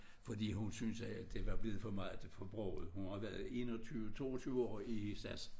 Fordi hun synes at det var blevet for meget for broget hun har været 21 22 år i SAS